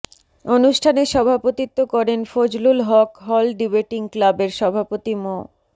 অনুষ্ঠানে সভাপতিত্ব করেন ফজলুল হক হল ডিবেটিং ক্লাবের সভাপতি মো